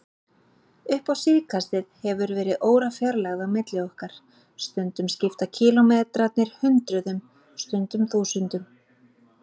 Upp á síðkastið hefur verið órafjarlægð á milli okkar, stundum skipta kílómetrarnir hundruðum, stundum þúsundum.